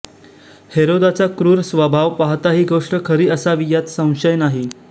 हेरोदाचा क्रूर स्वभाव पाहता ही गोष्ट खरी असावी यात संशय नाही